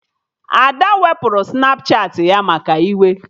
Ada wepụrụ Snapchatị ya maka iwe